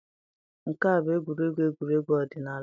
Nke a bụ egwuregwu egwuregwu ọdịnala.